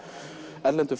erlendum